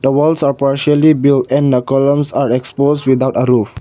the walls are partially built and the columns are exposed without a roof.